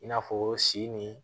I n'a fɔ si ni